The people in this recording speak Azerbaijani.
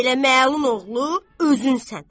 Belə məlun oğlu özünsən.